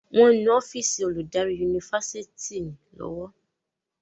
wón nu ọ́fíìsì Olùdarí Yunifásitìni lówó.